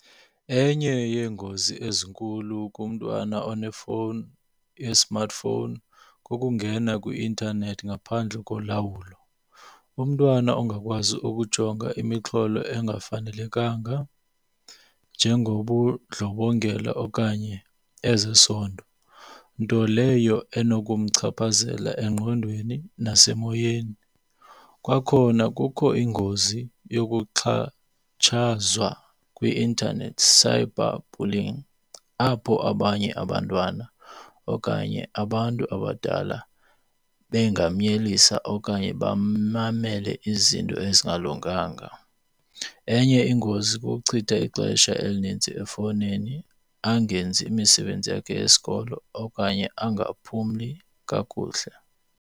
Enye yeengozi ezinkulu kumntwana onefowuni i-smart phone kukungena kwi-intanethi ngaphandle kolawulo. Umntwana ongakwazi ukujonga imixholo engafanelekanga njengobundlobongela okanye ezesondo, nto leyo enokumchaphazela engqondweni nasemoyeni. Kwakhona kukho ingozi yokuxhatshazwa kwi-intanethi, cyber bullying, apho abanye abantwana okanye abantu abadala bengamnyelisa okanye bamamele izinto ezingalunganga. Enye ingozi kukuchitha ixesha elinintsi efowunini angenzi imisebenzi yakhe yesikolo okanye angaphumli kakuhle.